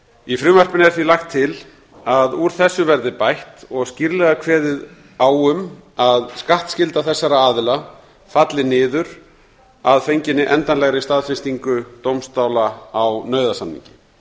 í frumvarpinu er því lagt til að úr þessu verði bætt og skýrlega kveðið á um að skattskylda þessara aðila falli niður að fenginni endanlegri staðfestingu dómstóla á nauðasamningi